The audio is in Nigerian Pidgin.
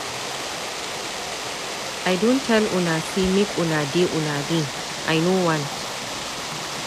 I don tell una say make una dey una lane. I know want.